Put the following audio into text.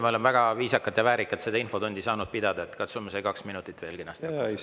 Me oleme väga viisakalt ja väärikalt seda infotundi saanud pidada, katsume need kaks minutit veel kenasti hakkama saada.